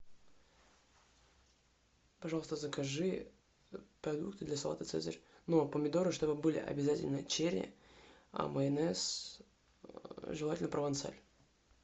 пожалуйста закажи продукты для салата цезарь но помидоры чтобы были обязательно черри а майонез желательно провансаль